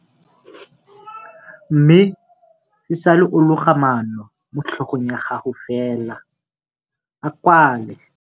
Mme, e sale o loga maano mo tlhogong ya gago fela, a kwale.